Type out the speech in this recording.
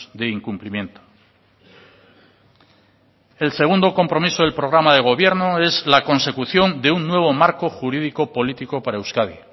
de incumplimiento el segundo compromiso del programa de gobierno es la consecución de un nuevo marco jurídico político para euskadi